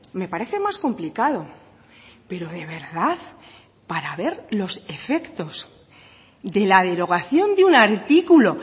me parece más complicado pero de verdad para ver los efectos de la derogación de un artículo